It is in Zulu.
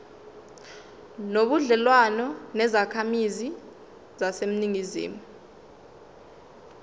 nobudlelwane nezakhamizi zaseningizimu